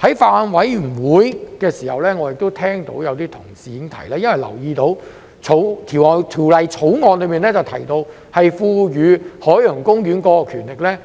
在法案委員會的時候，我聽到有同事提到，他們留意到《條例草案》賦予海洋公園權力，